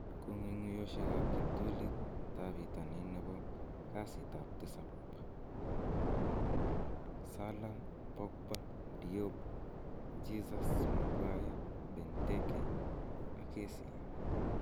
Kong'ung'uyosiekab kiptulitab bitonin nebo kasitab tisap 16/06/2019: Salah, Pogba. Diop, Jesus, Maguire, Benteke, Kessie